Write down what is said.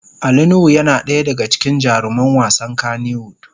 Ali nuhu yana daya daga cikin jaruman wasan kanny wood.